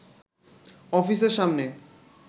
অফিসের সামনে